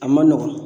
A man nɔgɔn